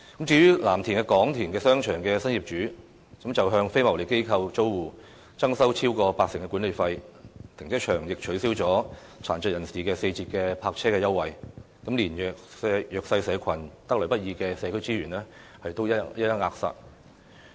至於藍田廣田商場的新業主則向非牟利機構租戶增收超過八成的管理費，停車場亦取消殘疾人士四折的泊車優惠，連弱勢社群得來不易的社區資源都一一扼殺。